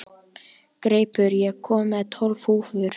Greipur, ég kom með tólf húfur!